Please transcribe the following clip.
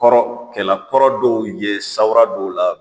Kɔrɔ kɛla kɔrɔ dɔw ye sawara dɔw la